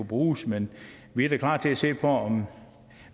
bruges men vi er da klar til at se på om